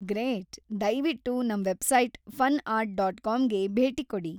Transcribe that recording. Great! ದಯ್ವಿಟ್ಟು ನಮ್‌ website ಫನ್‌ಆರ್ಟ್.ಕಾಮ್‌ಗೆ ಭೇಟಿ ಕೊಡಿ.